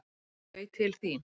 Koma þau til þín?